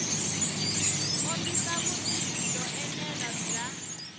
kombisa vutivi byo enela bya